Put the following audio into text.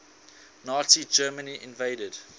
nazi germany invaded